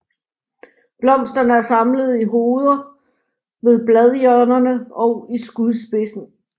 Blomsterne er samlet i hoveder ved bladhjørnerne og i skudspidsen